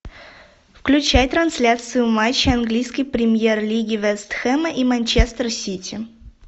включай трансляцию матча английской премьер лиги вестехема и манчестер сити